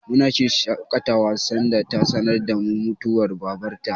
Muna shirya shaƙatawa sanda ta sanar da mu mutuwar Babar ta.